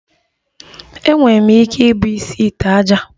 Enwere m ike ibu isi ite ájá